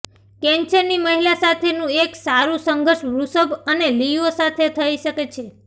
કેન્સરની મહિલા સાથેનું એક સારું સંઘર્ષ વૃષભ અને લીઓ સાથે થઈ શકે છે